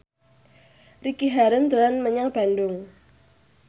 Ricky Harun dolan menyang Bandung